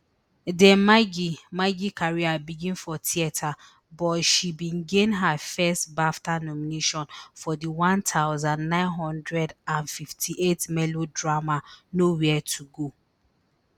dame maggie maggie career begin for theatre but she bin gain her first bafta nomination for di one thousand, nine hundred and fifty-eight melodrama nowhere to go